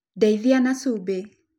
Ndeithia na cumbĩ